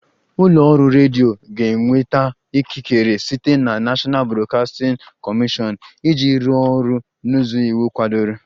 Ụlọ ọrụ redio ga-enweta ikikere site na National Broadcasting Commission iji rụọ ọrụ n'ụzọ iwu kwadoro